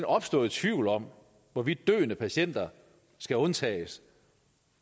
opstået tvivl om hvorvidt døende patienter skal undtages